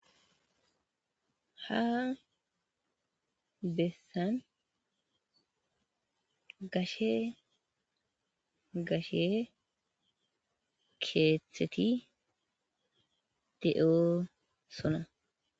Habessan gashe gashe keetheti de7oosona.